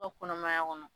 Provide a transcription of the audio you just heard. O kɔnɔmaya kɔnɔ